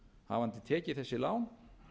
hafandi tekið þessi lán